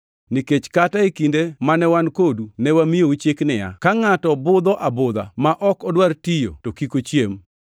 Nikech kata e kinde mane wan kodu ne wamiyou chik niya, “Ka ngʼato budho abudha ma ok odwar tiyo to kik ochiem.”